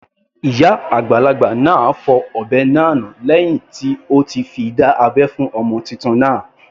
Ìyá àgbàlagbà náà fọ ọ̀bẹ náà nù lẹ́hìn tí ó ti fi dá abẹ́ fún ọmọ titun náà.